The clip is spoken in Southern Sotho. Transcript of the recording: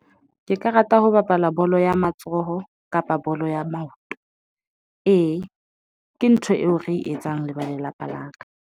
Ke ka rata ho bapala bolo ya matsoho kapa bolo ya maoto ee ke ntho eo re etsang le ba lelapa la ka.